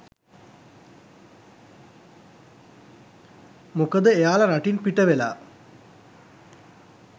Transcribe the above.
මොකද එයාලා රටින් පිටවෙලා